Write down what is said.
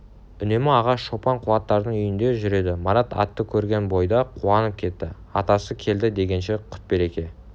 үнемі аға шопан қуаттардың үйінде жүреді марат атты көрген бойда қуанып кетті атасы келді дегенше құт-береке